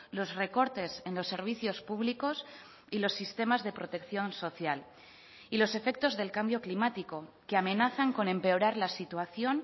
los recortes en los servicios públicos y los sistemas de protección social y los efectos del cambio climático que amenazan con empeorar la situación